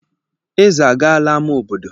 Eze agaala ámá obodo.